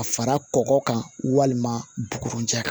A fara kɔgɔ kan walima bugu cɛ